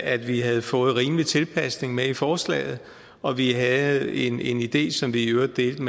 at vi havde fået rimelig tilpasning med i forslaget og vi havde en en idé som vi i øvrigt delte